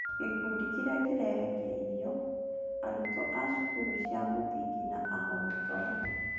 Gĩkundi kĩrĩa kĩrerekeirio: Arutwo a cukuru cia mũthingi na ahoi toro.